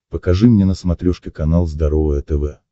покажи мне на смотрешке канал здоровое тв